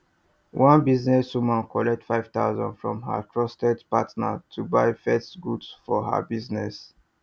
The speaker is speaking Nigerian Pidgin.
one business woman collect 5000 from her trusted partner to buy first goods for her business